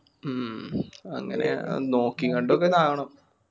മ്മ് അങ്ങനെ നോക്കീം കണ്ടൊക്കെ താവണം